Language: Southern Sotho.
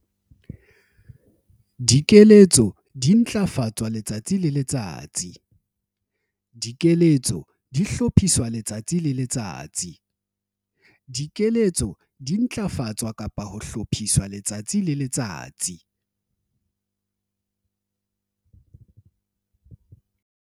Dikeletso di ntlafatswa-hlophiswa letsatsi le letsatsi.